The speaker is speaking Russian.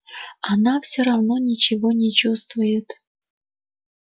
она всё равно ничего не чувствует